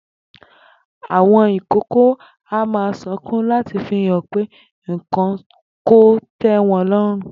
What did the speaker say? Àwo̩n ìkókó a máa sunkún láti fi hàn pé nǹkan kò té̩ wo̩n ló̩rùn